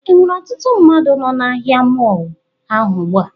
Enwere ọtụtụ mmadụ nọ na ahịa mọọlụ ahụ ugbu a?